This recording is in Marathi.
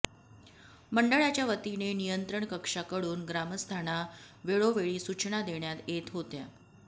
मंडळाच्या वतीने नियंत्रण कक्षाकडून ग्रामस्थाना वेळोवेळी सूचना देण्यात येत होत्या